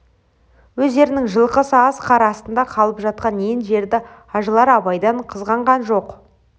өздерінің жылқысы аз қар астында қалып жатқан ен жерді ажылар абайдан қызғанған жоқ